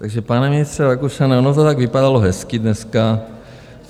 Takže pane ministře Rakušane, ono to tak vypadalo hezky dneska.